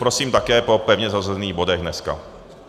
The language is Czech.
Prosím také po pevně zařazených bodech dnes.